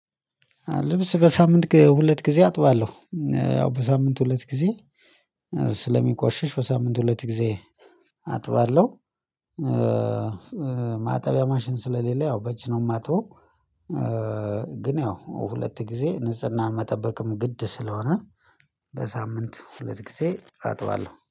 ልብስ በሳምንት ሁለት ጊዜ አጥባለሁ። ያው በሳምንት ሁለት ጊዜ። ስለሚቆሽሽ በሳምንት ሁለት ጊዜ አጥባለሁ። ማጠቢያ ማሽን ስለሌለ ያው በእጅ ነው የማጥበው። ግን ያው ሁለት ጊዜ ንጽህናን መጠበቅም ግድ ስለሆነ በሳምንት ሁለት ጊዜ አጥባለሁ